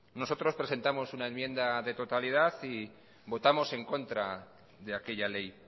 nosotros presentamos una enmienda de totalidad y votamos en contra de aquella ley